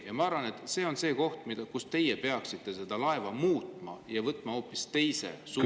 Ja ma arvan, et see on koht, kus teie peaksite selle laeva võtma hoopis teise suuna.